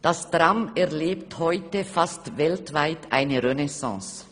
«Das Tram erlebt heute fast weltweit eine Renaissance.